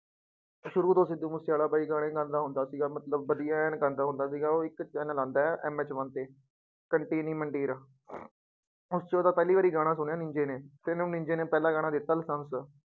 ਸ਼ੁਰੂ ਤੋਂ ਸਿੱਧੂ ਮੂਸੇਵਾਲਾ ਬਾਈ ਗਾਣੇ ਗਾਉਂਦਾ ਹੁੰਦਾ ਸੀਗਾ ਮਤਲਬ ਵਧੀਆ ਐਨ ਗਾਉਂਦਾ ਹੁੰਦਾ ਸੀਗਾ, ਉਹ ਇੱਕ ਚੈਨਲ ਆਉਂਦਾ ਹੈ MH one ਤੇ ਕੰਟੀਨੀ ਮੰਡੀਰ ਉਸ ਚ ਉਹਦਾ ਪਹਿਲੀ ਵਾਰ ਗਾਣਾ ਸੁਣਿਆ ਨੀਂਜੇ ਨੇ ਤੇ ਇਹਨੂੰ ਨੀਂਜੇ ਨੇ ਪਹਿਲਾ ਗਾਣਾ ਦਿੱਤਾ ਲਾਇਸੈਂਸ।